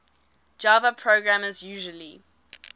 java programmers usually